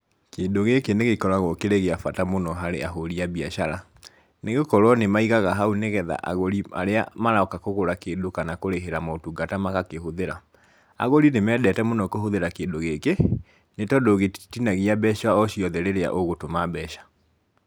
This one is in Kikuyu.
Kĩndũ gĩkĩ nĩ gĩkoragwo kĩrĩ gĩa bata mũno harĩ ahũri a biacara, nĩ gũkorwo nĩ maigaga hau nĩgetha agũri arĩa maroka kũgũra kĩndũ kana kũrĩhĩra motungata magakĩhũthĩra. Agũri nĩ mendete mũno kũhũthĩra kĩndũ gĩkĩ nĩ tondũ gĩtitinagia mbeca o ciothe ĩrĩa ũgũtũma mbeca.